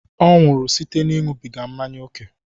Ọ nwụrụ site n'ịṅụbiga mmanya ókè